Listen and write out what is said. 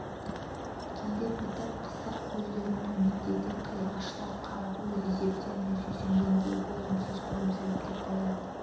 кейде бітік қысық көздерін төмендете қиғаштап қарап өз есептеріне сүйсінгендей болымсыз күлімсіреп те қояды